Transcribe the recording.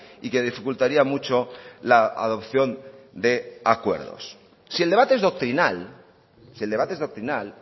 y que dificultaría mucho la adopción de acuerdos si el debate es doctrinal si el debate es doctrinal